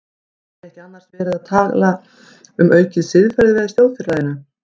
Er ekki annars alltaf verið að tala um aukið siðferði í þjóðfélaginu?